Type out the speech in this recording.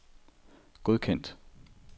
godkendt